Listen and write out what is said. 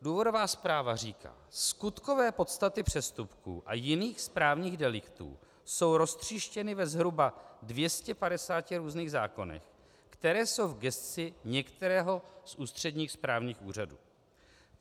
Důvodová zpráva říká: Skutkové podstaty přestupků a jiných správních deliktů jsou roztříštěny ve zhruba 250 různých zákonech, které jsou v gesci některého z ústředních správních úřadů.